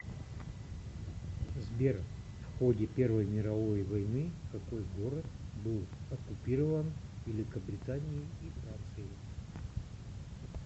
сбер в ходе первой мировой войны какой город был оккупирован великобританией и францией